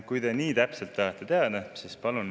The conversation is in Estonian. Kui te nii täpselt tahate teada, siis palun.